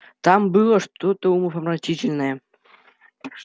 там было что-то умопомрачительное